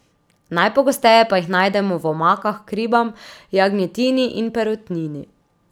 Najpogosteje pa jih najdemo v omakah k ribam, jagnjetini in perutnini.